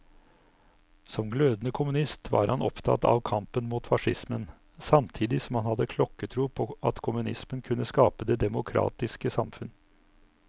Som glødende kommunist var han opptatt av kampen mot facismen, samtidig som han hadde klokketro på at kommunismen kunne skape det demokratiske samfunn.